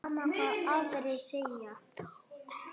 Og þó ekki!